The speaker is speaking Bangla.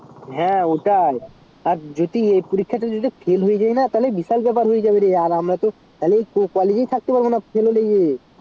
হ্যাঁ ওটাই যদি পরীক্ষাতে fail হয়ে যাই না তাহলে বিশাল ব্যাপার হয়ে যাবে আর আমরা তো college এই থাকতে পারবো না fail হয়ে গেলে